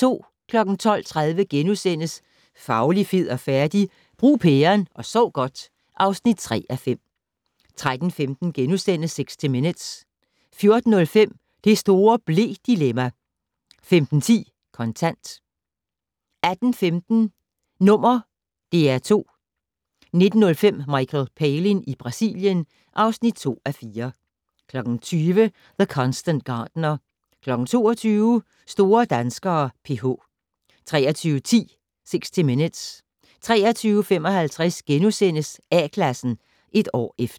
12:30: Fauli, fed og færdig? - Brug pæren og sov godt (3:5)* 13:15: 60 Minutes * 14:05: Det store ble-dilemma! 15:10: Kontant 18:15: #DR2 19:05: Michael Palin i Brasilien (2:4) 20:00: The Constant Gardener 22:00: Store danskere: PH 23:10: 60 Minutes 23:55: A-Klassen - et år efter *